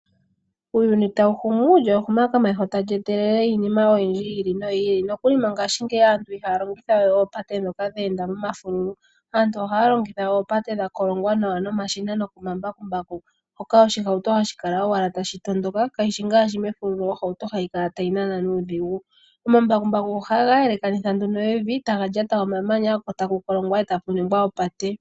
Uuyuni tawu humu , lyo ehumo komeho ta li etelele iinima oyindji yi ili no yi ili. Nokuli mongashingeyi aantu ihaa longitha we eepate dhoka dha enda momafululu. Aantu ohaa longitha oopate dhakolongwa nawa nomashina nokomambakumbaku. Moka oshihauto hashi kala owala tashi tondoka, kashi shi ngaashi mefululu moka ohauto hayi kala ta yi nana nuudhigu. Omambakumbaku oha ga yelekanitha nduno evi, ta ga lyata omamanya, ko taku kolongwa, e taku ningwa opate.